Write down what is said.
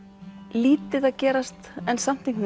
lítið að gerast en samt